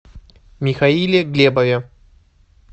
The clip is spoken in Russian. михаиле глебове